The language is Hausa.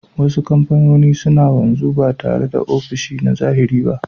Wasu kamfanoni suna wanzu ba tare da ofishi na zahiri ba